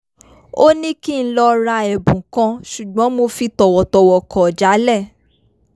ó ní kí n lọ ra ẹ̀bùn kan ṣùgbọ́n mo fi tọ̀wọ̀tọ̀wọ̀ kọ̀ jálẹ̀